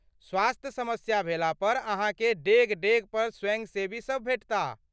स्वास्थ्य समस्या भेला पर अहाँके डेग डेग पर स्वयंसेवीसब भेटताह।